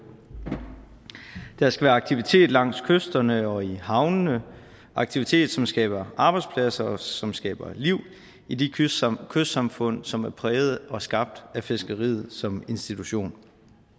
der skal være aktivitet langs kysterne og i havnene aktivitet som skaber arbejdspladser og som skaber liv i de kystsamfund kystsamfund som er præget og skabt af fiskeriet som institution